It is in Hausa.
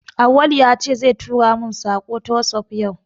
Auwalu ya ce zai tura mun saƙo ta wasap yau